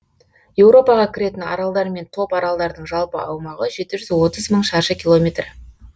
еуропаға кіретін аралдар мен топаралдардың жалпы аумағы жеті жүз отыз мың шаршы километр